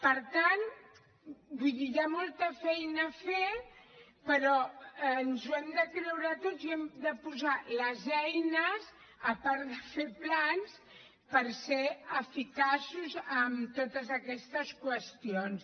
per tant vull dir hi ha molta feina a fer però ens ho hem de creure tots i hem de posar les eines a part de fer plans per ser eficaços en totes aquestes qüestions